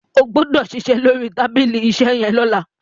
o gbódò ṣiṣẹ lórí tábìlì iṣe yén lọla!